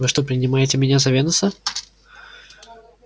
вы что принимаете меня за венуса